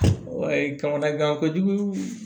kamanagan kojugu